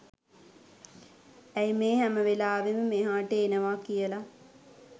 ඇයි මේ හැම වෙලාවෙම මෙහාට එනවා කියල